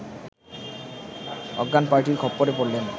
অজ্ঞান পার্টির খপ্পড়ে পড়লেন